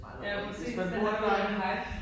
Ja præcis. Den der flotte park